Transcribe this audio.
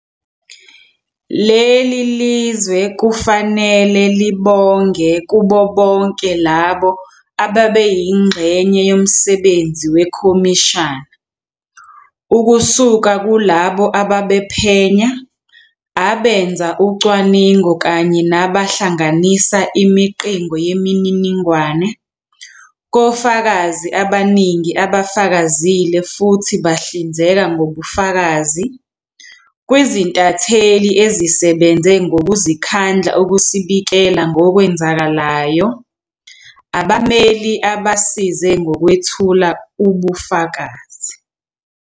Leli lizwe kufanele libonge kubo bonke labo abebeyingxenye yomsebenzi wekhomishana, [] ukusuka kulabo ababephenya, abenza ucwaningo kanye nabahlanganisa imiqingo yemininingwane, kofakazi abaningi abafakazile futhi bahlinzeka ngobufakazi, kwizintatheli ezisebenze ngokuzikhandla ukusibikela ngokwenzakalayo, abameli abasize ngokwethula ubufakazi.